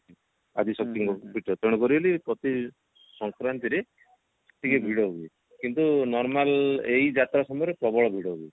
ଆଦିଶକ୍ତି ପୀଠ ତେଣୁକରି ବୋଲି ପ୍ରତି ସଂକ୍ରାନ୍ତି ରେ ଟିକେ ଭିଡ ହୁଏ କିନ୍ତୁ normal ଏଇ ଯାତ୍ରା ସମୟରେ ପ୍ରବଳ ଭିଡ ହୁଏ